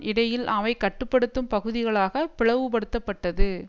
இடையில் அவை கட்டு படுத்தும் பகுதிகளாக பிளவு படுத்தப்பட்டது